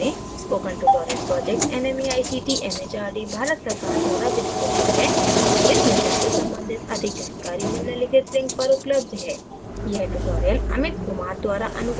spoken tutorial project nmeict mhrd Bharat सरकार द्वारा वित्तपोषित है इस mission से संबंधित अधिक जानकारी निम्नलिखित link पर उपलब्ध है